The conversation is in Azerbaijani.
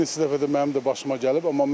Bir neçə dəfədir mənim də başıma gəlib,